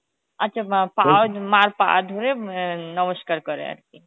আচ্ছা বা পা মার পা ধরে উম এ নমস্কার করে আরকি